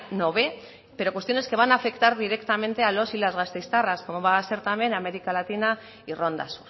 no ve pero cuestiones que van a afectar directamente a los y las gasteiztarras como va a ser también américa latina y rondas